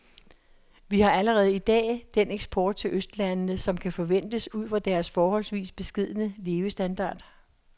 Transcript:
Vi har allerede i dag den eksport til østlandene, som kan ventes ud fra deres forholdsvis beskedne levestandard.